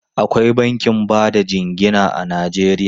Akwai bankin ba da jingina a Najeriya.